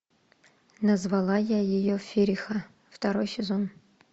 назвала я ее фериха второй сезон